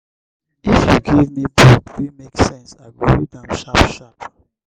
if you give me book wey make sense i go read am sharp-sharp.